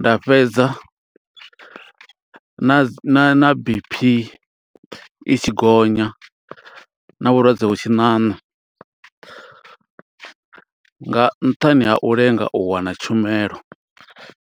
Nda fhedza na dzi, na B_P i tshi gonya, na vhulwadze vhu tshi ṋaṋa, nga nṱhani ha u lenga u wana tshumelo.